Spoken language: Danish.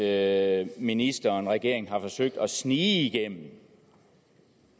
at ministeren og regeringen har forsøgt at snige igennem